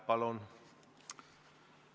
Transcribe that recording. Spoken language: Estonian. Palun!